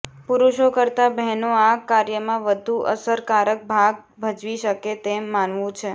પુરુષો કરતાં બહેનો આ કાર્યમાં વધુ અસરકારક ભાગ ભજવી શકે તેમ માનવું છે